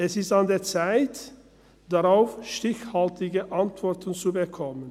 Es ist an der Zeit, darauf stichhaltige Antworten zu erhalten.